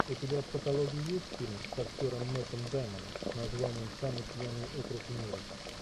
у тебя в каталоге есть фильм с актером мэттом дэймоном с названием самый пьяный округ в мире